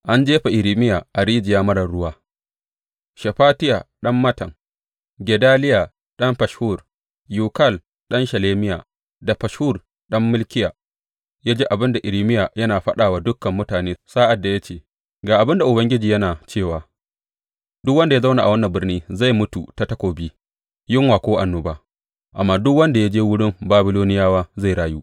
An jefa Irmiya a rijiya marar ruwa Shefatiya ɗan Mattan, Gedaliya ɗan Fashhur, Yukal ɗan Shelemiya da Fashhur ɗan Malkiya ya ji abin da Irmiya yana faɗa wa dukan mutane sa’ad da ya ce, Ga abin da Ubangiji yana cewa, Duk wanda ya zauna a wannan birni zai mutu ta takobi, yunwa ko annoba, amma duk wanda ya je wurin Babiloniyawa zai rayu.